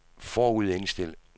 forudindstil